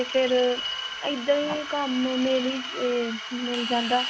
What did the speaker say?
ਫੇਰ ਇੱਦਾਂ ਹੀ ਕੰਮ ਮਿਲ, ਮਿਲ ਜਾਂਦਾ